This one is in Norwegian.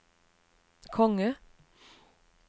konge